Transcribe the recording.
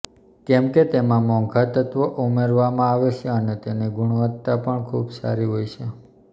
કેમકે તેમાં મોંઘા તત્ત્વો ઉમેરવામાં આવે છે અને તેની ગુણવત્તા પણ ખૂબ સારી હોય છે